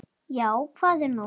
Já, hvað er nú?